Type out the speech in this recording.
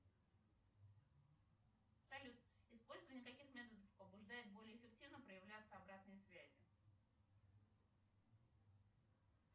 салют использование каких методов побуждает более эффективно проявляться обратной связи